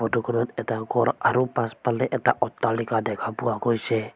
Photo খনত এটা ঘৰ আৰু পাছফালে এটা অট্টালিকা দেখা পোৱা গৈছে।